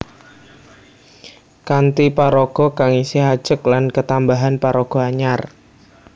Kanthi paraga kang isih ajeg lan ketambahan paraga anyar